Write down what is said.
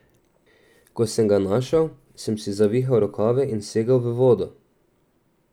Ko sem ga našel, sem si zavihal rokave in segel v vodo.